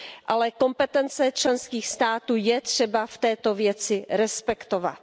Ale kompetence členských států je třeba v této věci respektovat.